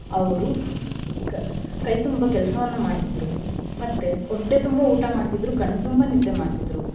ಅವ್ರು ಕ~ ಕೈ ತುಂಬ ಕೆಲ್ಸವನ್ನ ಮಾಡ್ತಿದ್ರು ಮತ್ತೆ ಹೊಟ್ಟೆ ತುಂಬ ಊಟಾ ಮಾಡ್ತಿದ್ರು ಕಣ್ಣ್ ತುಂಬ ನಿದ್ದೆ ಮಾಡ್ತಿದ್ರು.